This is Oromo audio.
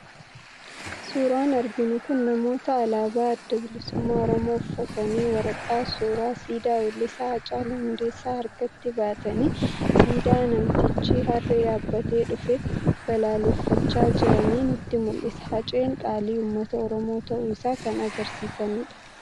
Suuraan arginu kun namoota alaabaa Adda Bilisummaa Oromoo uffatanii waraqaa suuraa siidaa weellisaa Haacaaluu Hundeessaa harkatti baatanii siidaa namticha Harree yaabbatee dhufee balaaleffachaa jiranii nutti mul'isa. Haceen qaalii uummata Oromoo ta'uu isaa kan agarsiisanidha.